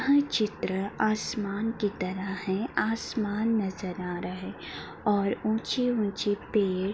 हर चित्र आसमान की तरह है आसमान नजर आ रहा है और ऊंचे ऊंचे पेड़।